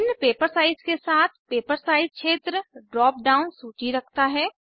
भिन्न paper size के साथ पेपर साइज क्षेत्र ड्राप डाउन सूची रखता है